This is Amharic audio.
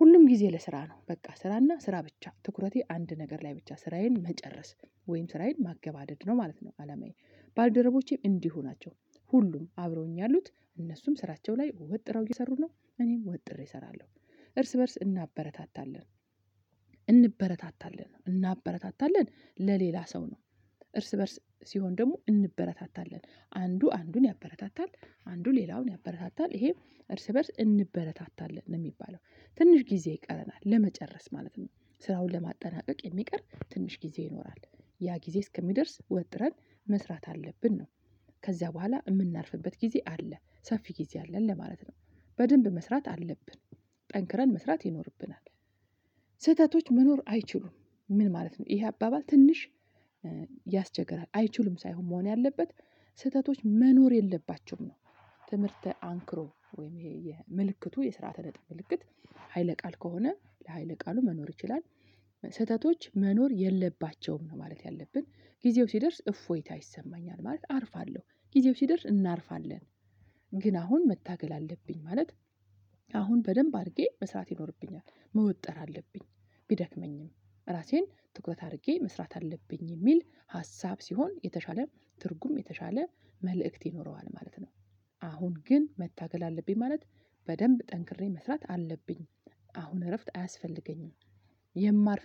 ሁሉም ጊዜ ለስራ ነው። በቃ ስራና ስራ ብቻ ትኩረቴ አንድ ነገር ላይ ብቻ ስራዬን መጨረስ ወይም ስራዬን ማገበደድ ነው ማለት ነው አላማዬ። ባልደረቦቼም እንዲሁ ናቸው። ሁሉም አብረውኝ ያሉት እነሱም ስራቸው ላይ ወጥረው እየሰሩ ነው፣ እኔም ወጥሬ እሰራለሁ። እርስ በእርስ እናበረታታለን እንበረታታለን እናበረታታለን ለሌላ ሰው ነው። እርስ በእርስ ሲሆን ደግሞ እንበረታታለን። አንዱ አንዱን ያበረታታል አንዱ ሌላውን ያበረታታል ይሄ እርስ በእርስ እንበረታታለን ነው የሚባለው። ትንሽ ጊዜ ይቀረናል ለመጨረስ ማለት ነው። ስራውን ለማጠናቀቅ የሚቀር ትንሽ ጊዜ ይኖራል። ያ ጊዜ እስከሚደርስ ወጥረን መስራት አለብን ነው። ከዚያ በኋላ እምናርፍበት ጊዜ አለ፣ ሰፊ ጊዜ አለን ለማለት ነው። በደንብ መስራት አለብን፣ ጠንክረን መስራት ይኖርብናል። ስህተቶች መኖር አይችሉም፣ ምን ማለት ነው? ይሄ አባባል ትንሽ ያስቸግራል አይችሉም ሳይሆን መሆን ያለበት ስህተቶች መኖር የለባቸውም ነው። ትምህርተ አንክሮ ወይም ይሄ የ ምልክቱ የስርዓተ ነጥብ ምልክት ሀይለ ቃል ከሆነ ለሀይለ ቃሉ መኖር ይችላል ስህተቶች መኖር የለባቸውም ነው ማለት ያለብን ጊዜው ሲደርስ እፎይታ ይሰማኛል ማለት አርፋለሁ ጊዜው ሲደርስ እናርፋለን ግን አሁን መታገል አለብኝ ማለት አሁን በደንብ አድርጌ መስራት ይኖርብኛል፣ መወጠር አለብኝ ቢደክመኝም ራሴን ትኩረት አድርጌ መስራት አለብኝ የሚል ሀሳብ ሲሆን የተሻለ ትርጉም የተሻለ መልእክት ይኖረዋል ማለት ነው። አሁን ግን መታገል አለብኝ ማለት በደንብ ጠንክሬ መስራት አለብኝ አሁን እረፍት አያስፈልገኝም። የማርፍ